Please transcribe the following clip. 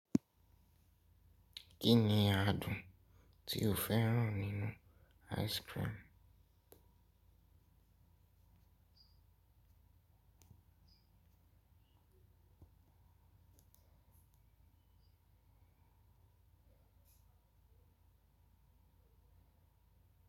Kíni adùn tí o fẹ́ràn nínú ice cream?